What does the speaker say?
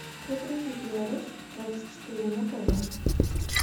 загрузи беларусь двадцать четыре на тв